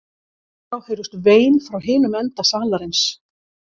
Í sömu andrá heyrðust vein frá hinum enda salarins.